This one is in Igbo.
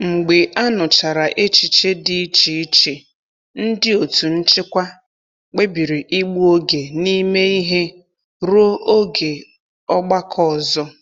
Mgbe a nụchara echiche dị iche iche, ndị otu nchịkwa kpebiri ịgbu oge n'ime ihe ruo oge ọgbakọ ọzọ.